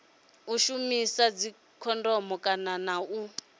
u shumisa dzikhondomu khathihi na